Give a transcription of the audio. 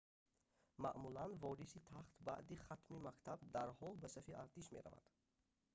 маъмулан вориси тахт баъди хатми мактаб дарҳол ба сафи артиш меравад